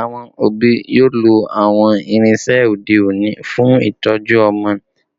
Awọn obi yoo lo awọn irinṣẹ ode oni fun itọju ọmọ,